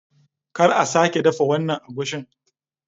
Kar a sake dafa wannan agushin!